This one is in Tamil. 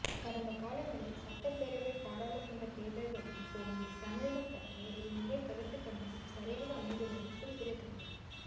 கடந்த காலங்களில் சட்டப்பேரவை பாராளுமன்ற தேர்தல்களில் போன்றே தமிழக ம் பற்றிய இம்முறை கருத்துக் கணிப்பும் சரியாக அமைந்துள்ளது குறிப்பிடத்தக்கது